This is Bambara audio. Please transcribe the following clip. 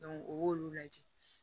o y'olu lajɛ